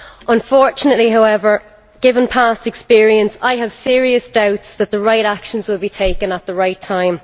Unfortunately, however, given past experience, I have serious doubts that the right actions will be taken at the right time